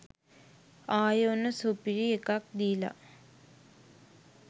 ආයේ ඔන්න සුපිරි එකක් දීලා.